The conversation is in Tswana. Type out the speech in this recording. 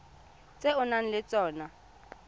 tse o nang le tsona